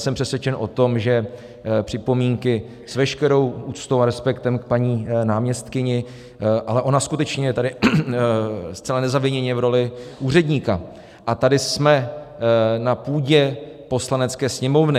Jsem přesvědčen o tom, že připomínky, s veškerou úctou a respektem k paní náměstkyni - ale ona skutečně je tady zcela nezaviněně v roli úředníka, a tady jsme na půdě Poslanecké sněmovny.